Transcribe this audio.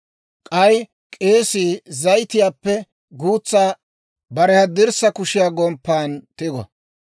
K'ay k'eesii zayitiyaappe guutsaa bare haddirssa kushiyaa gomppan tigo.